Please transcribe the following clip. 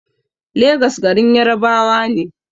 Legas garin Yarabawa ne